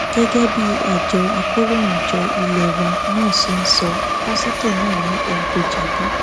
gẹgẹ bí àjọ akòròyìnjọ ilé wa nan ṣe sọ pásítọ náà ni òun kò jẹbi